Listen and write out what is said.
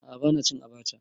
A'a bana cin abacha.